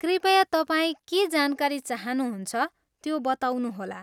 कृपया तपाईँ के जानकारी चाहनुहुन्छ, त्यो बताउनुहोला।